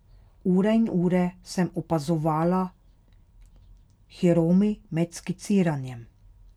Ure in ure sem opazovala Hiromi med skiciranjem.